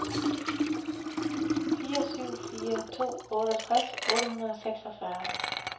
fire syv fire to otteogtres otte hundrede og seksogfyrre